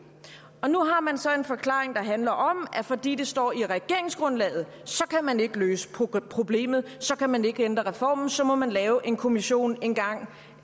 nu har man så en forklaring der handler om at fordi det står i regeringsgrundlaget kan man ikke løse problemet så kan man ikke ændre reformen så må man lave en kommission engang